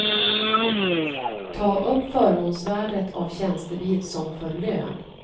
Ta upp förmånsvärdet av tjänstebil som för lön.